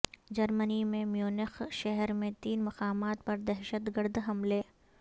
جرمنی کے میونخ شہر میں تین مقامات پر دہشت گرد حملے